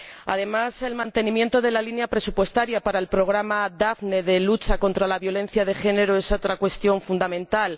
Además, el mantenimiento de la línea presupuestaria para el programa Daphne de lucha contra la violencia de género es otra cuestión fundamental.